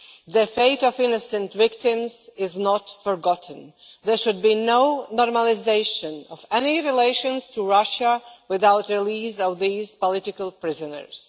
The fate of innocent victims is not forgotten. There should be no normalisation of any relations with Russia without the release of these political prisoners.